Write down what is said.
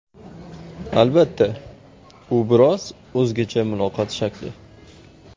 Albatta, u biroz o‘zgacha muloqot shakli.